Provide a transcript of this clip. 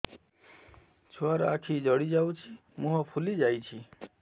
ଛୁଆର ଆଖି ଜଡ଼ି ଯାଉଛି ମୁହଁ ଫୁଲି ଯାଇଛି